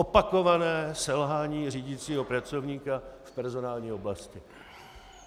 Opakované selhání řídícího pracovníka v personální oblasti.